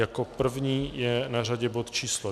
Jako první je na řadě bod číslo